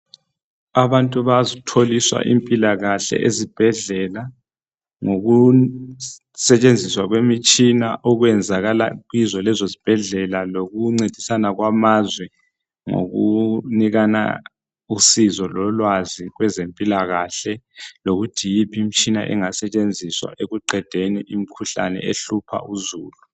Abantu bayatholiswa impilakahle ezibhedlela ngoku setshenziswa kwemitshina okwenzakala kizo lezo zibhedlela lokuncedisana kwamazwe, ngokunikana usizo lolwazi kwezempilakahle lokuthi yiphi imitshina engasetshenziswa ekuqedeni imikhuhlane ehlupha uzulu.